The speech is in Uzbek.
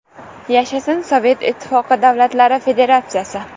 Yashasin Sovet Ittifoqi davlatlari federatsiyasi!